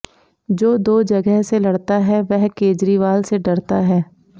जो दो जगह से लड़ता है वह केजरीवाल से डरता है